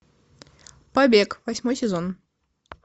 побег восьмой сезон